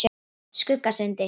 Skuggasundi